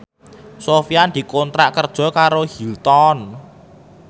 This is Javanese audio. Sofyan dikontrak kerja karo Hilton